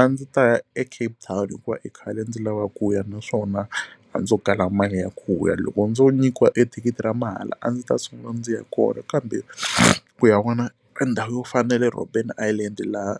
A ndzi ta ya eCape Town hikuva i khale ndzi lava ku ya naswona a ndzo kala mali ya ku ya loko ndzo nyikiwa ethikithi ra mahala a ndzi ta sungula ndzi ya kona kambe ku ya vona endhawu yo fana na le Roben Irland laha